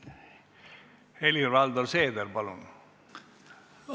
Helir-Valdor Seeder, palun!